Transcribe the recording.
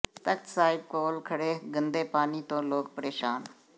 ਤਖਤ ਸਾਹਿਬ ਕੋਲ ਖੜ੍ਹੇ ਗੰਦੇ ਪਾਣੀ ਤੋਂ ਲੋਕ ਪ੍ਰੇਸ਼ਾਨ